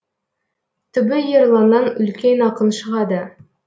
түбі ерланнан үлкен ақын шығады